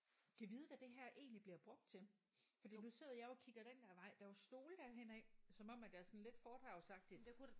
Gad vide hvad det her egentlig bliver brugt til fordi nu sidder jeg jo og kigger den der vej der er jo stole derhen af som om at der er sådan lidt foredragsagtigt